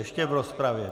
Ještě v rozpravě.